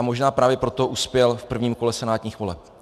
A možná právě proto uspěl v prvním kole senátních voleb.